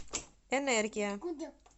энергия